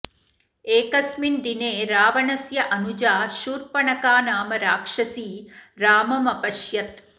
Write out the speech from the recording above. एकस्मिन दिने रावणस्य अनुजा शूर्पणखा नाम राक्षसी राममपश्यत्